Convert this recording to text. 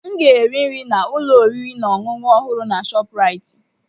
M ga-eri nri na ụlọ oriri na ọṅụṅụ ọhụrụ na Shopuraiti.